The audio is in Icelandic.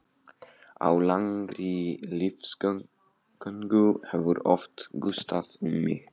Á langri lífsgöngu hefur oft gustað um mig.